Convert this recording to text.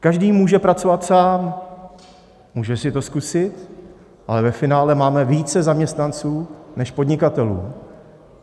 Každý může pracovat sám, může si to zkusit, ale ve finále máme více zaměstnanců než podnikatelů.